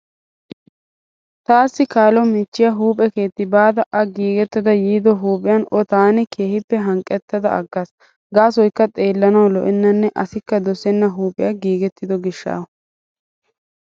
Taassi kaalo michchiya huuphe keetti baada a giigettada yiido huuphiyan o taani keehippe haniqqettada aggaas. Gaasoyikka xeellanawu lo'ennanne asikka dosenna huuphiya giigettido gishshawu.